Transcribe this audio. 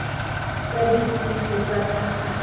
tsa dipotsiso tsa ka gale